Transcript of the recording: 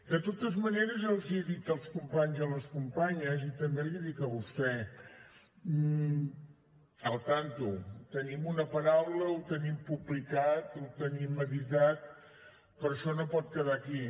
de totes maneres els ho he dit als companys i a les companyes i també l’hi dic a vostè al tanto tenim una paraula ho tenim publicat ho tenim editat però això no pot quedar aquí